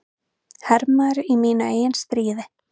Hermaður í mínu eigin stríði.